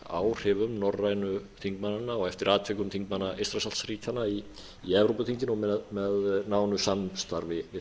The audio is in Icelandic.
áhrifum norrænu þingmannanna og eftir atvikum þingmanna eystrasaltsríkjanna í evrópuþinginu með nánu samstarfi við